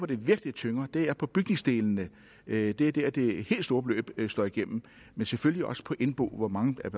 det virkelig tynger er på bygningsdelene det er der det det helt store beløb slår igennem men selvfølgelig også på indbo hvor mange er